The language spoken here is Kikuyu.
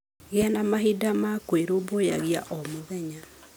Gĩa na mahinda ma kwĩrũmbũiya o mũthenya.